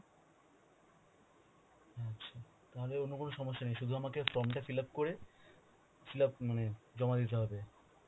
আচ্ছা, আমাদের অন্য কোন সমস্যা নেই শুধু আমাকে form টা fill-up করে, fill-up মানে জমা দিতে হবে.